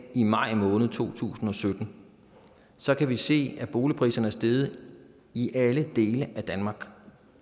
i maj måned to tusind og sytten så kan vi se at boligpriserne er steget i alle dele af danmark